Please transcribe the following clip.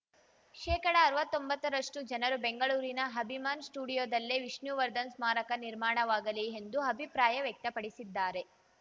ಶೇಕಡಅರ್ವತೊಂಬತ್ತರಷ್ಟುಜನರು ಬೆಂಗಳೂರಿನ ಅಭಿಮಾನ್‌ ಸ್ಟುಡಿಯೋದಲ್ಲೇ ವಿಷ್ಣುವರ್ಧನ್‌ ಸ್ಮಾರಕ ನಿರ್ಮಾಣವಾಗಲಿ ಎಂದು ಅಭಿಪ್ರಾಯ ವ್ಯಕ್ತಪಡಿಸಿದ್ದಾರೆ